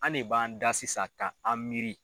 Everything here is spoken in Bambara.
An ne b'an da sisan ka an miiri.